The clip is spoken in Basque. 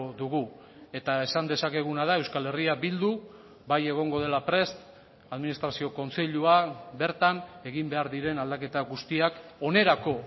dugu eta esan dezakeguna da euskal herria bildu bai egongo dela prest administrazio kontseilua bertan egin behar diren aldaketa guztiak onerako